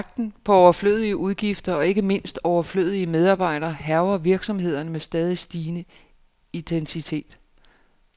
Jagten på overflødige udgifter, og ikke mindst overflødige medarbejdere, hærger virksomhederne med stadig stigende intensitet.